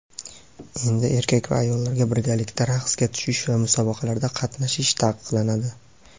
endi erkak va ayollarga birgalikda raqsga tushish va musobaqalarda qatnashish taqiqlanadi.